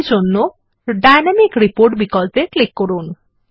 এর জন্য dynamic report বিকল্পে ক্লিক করুন